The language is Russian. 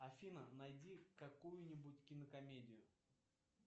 афина найди какую нибудь кинокомедию